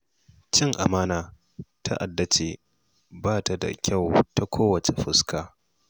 Cin amana ta'ada ce da ba ta da kyau ta kowace fuska.